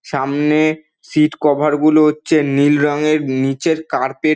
সামনে-এ seat cover -গুলো হচ্ছে নীল রঙের নিচের কার্পেট --